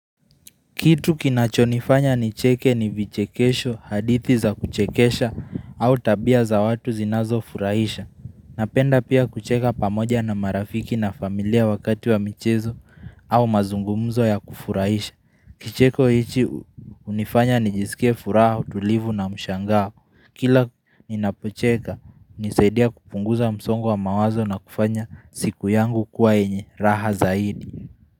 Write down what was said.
Kitu kinachonifanya nicheke ni vichekesho, hadithi za kuchekesha, au tabia za watu zinazofurahisha. Napenda pia kucheka pamoja na marafiki na familia wakati wa michezo au mazungumzo ya kufurahisha. Kicheko hichi hunifanya nijisike furaha, utulivu na mshangaa. Kila ninapocheka, hunisaidia kupunguza msongo wa mawazo na kufanya siku yangu kuwa yenye raha zaidi.